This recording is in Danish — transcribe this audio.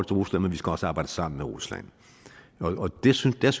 rusland men vi skal også arbejde sammen med rusland og der synes jeg